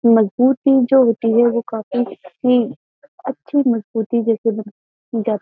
मजबूती जो होती है वो काफी ही अच्छी मजबूती जैसे --